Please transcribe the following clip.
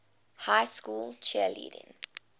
high school cheerleading